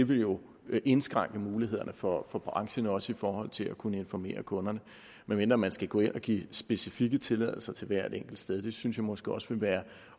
det jo indskrænke mulighederne for branchen også i forhold til at kunne informere kunderne medmindre man skal gå ind og give specifikke tilladelser til hvert enkelt sted det synes jeg måske også ville være